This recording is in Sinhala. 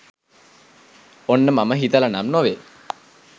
ඔන්න මම හිතලා නම් නොවේ